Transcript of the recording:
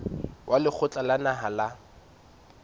wa lekgotla la naha la